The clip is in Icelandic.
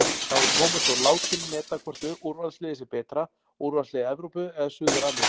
Þá er Tómas Þór látinn meta hvort úrvalsliðið sé betra, úrvalslið Evrópu eða Suður-Ameríku?